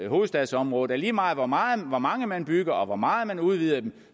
hovedstadsområdet at lige meget hvor meget hvor mange man bygger og hvor meget man udvider dem